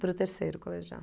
Para o terceiro colegial.